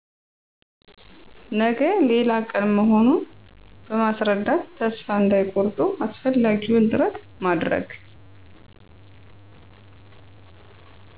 ነገ ሌላ ቀን መሆኑን በማስረዳት ተስፋ እንዳይቆርጡ አስፈላጊውን ጥረት ማድረግ